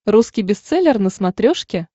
русский бестселлер на смотрешке